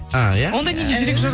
ааа иә онда неге жүрек